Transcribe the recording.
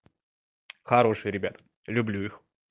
хорошие ребята люблю их